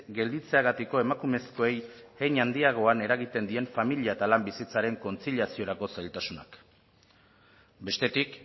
gelditzeagatiko emakumezkoei hein handiagoan eragiten dien familia eta lan bizitzaren kontziliaziorako zailtasunak bestetik